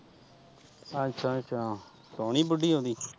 ਅੱਛਾ ਅੱਛਾ ਸੋਹਣੀ ਬੁੱਢੀ ਹੋਗੀ।